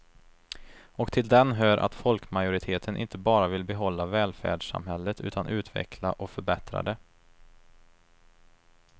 Och till den hör att folkmajoriteten inte bara vill behålla välfärdssamhället utan utveckla och förbättra det.